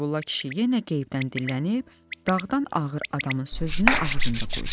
Qeybulla kişi yenə qeybdən dillənib, dağdan ağır adamın sözünü ağzında qoydu.